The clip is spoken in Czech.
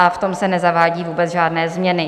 A v tom se nezavádí vůbec žádné změny.